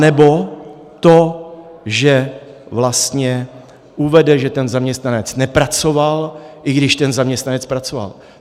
Anebo to, že vlastně uvede, že ten zaměstnanec nepracoval, i když ten zaměstnanec pracoval.